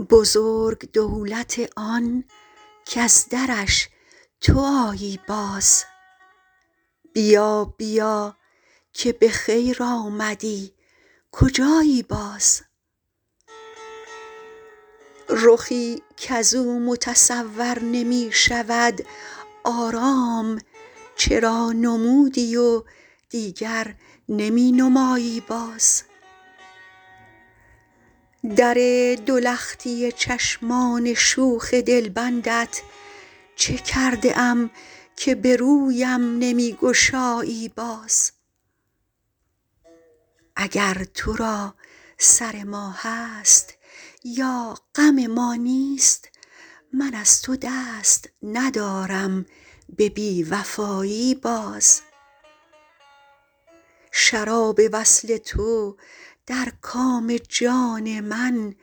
بزرگ دولت آن کز درش تو آیی باز بیا بیا که به خیر آمدی کجایی باز رخی کز او متصور نمی شود آرام چرا نمودی و دیگر نمی نمایی باز در دو لختی چشمان شوخ دلبندت چه کرده ام که به رویم نمی گشایی باز اگر تو را سر ما هست یا غم ما نیست من از تو دست ندارم به بی وفایی باز شراب وصل تو در کام جان من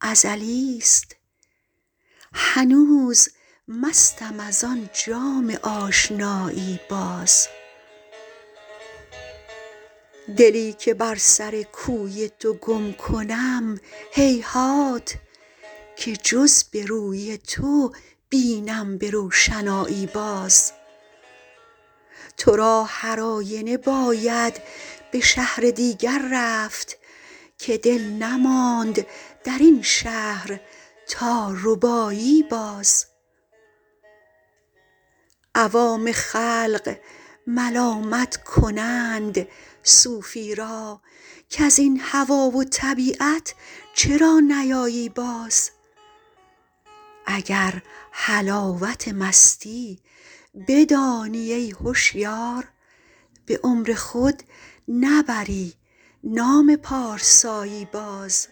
ازلیست هنوز مستم از آن جام آشنایی باز دلی که بر سر کوی تو گم کنم هیهات که جز به روی تو بینم به روشنایی باز تو را هر آینه باید به شهر دیگر رفت که دل نماند در این شهر تا ربایی باز عوام خلق ملامت کنند صوفی را کز این هوا و طبیعت چرا نیایی باز اگر حلاوت مستی بدانی ای هشیار به عمر خود نبری نام پارسایی باز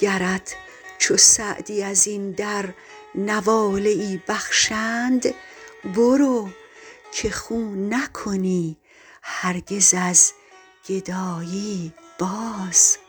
گرت چو سعدی از این در نواله ای بخشند برو که خو نکنی هرگز از گدایی باز